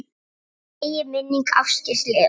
Megi minning Ásgeirs lifa.